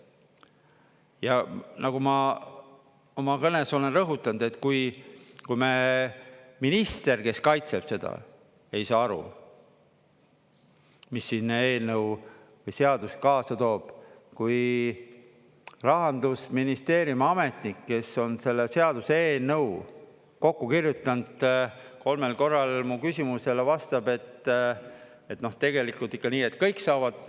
Ja nagu ma oma kõnes olen rõhutanud, et kui me minister, kes kaitseb seda, ei saa aru, mis siin eelnõu või seadus kaasa toob; kui Rahandusministeeriumi ametnik, kes on selle seaduseelnõu kokku kirjutanud, kolmel korral mu küsimusele vastab, et tegelikult on ikka nii, et kõik saavad.